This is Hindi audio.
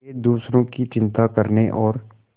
वे दूसरों की चिंता करने और